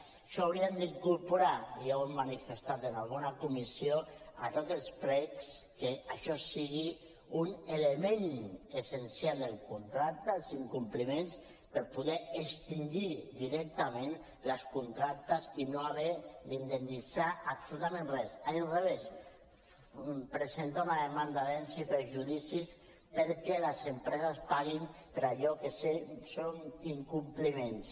això ho haurien d’incorporar i ja ho hem manifestat en alguna comissió a tots els plecs que això sigui un element essencial del contracte els incompliments per poder extingir directament les contractes i no haver d’indemnitzar absolutament res a l’inrevés presentar una demanda de danys i perjudicis perquè les empreses paguin per allò que són incompliments